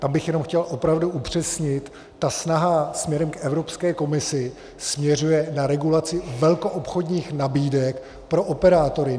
Tam bych jenom chtěl opravdu upřesnit, ta snaha směrem k Evropské komisi směřuje na regulaci velkoobchodních nabídek pro operátory.